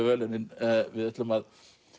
verðlaunin við ætlum að